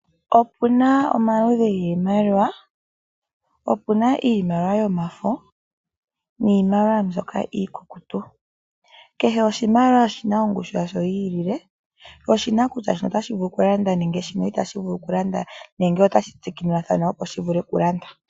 Opuna omaludhi giimaliwa yimwe oyomafo niimaliwa iikukutu kehe oshimaliwa oshina ongushu yasho yilele. Sho oshina kutya otashi vulu oku landa nenge otashi vulu.